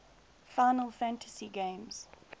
final fantasy games